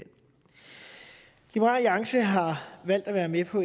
liberal alliance har valgt at være med på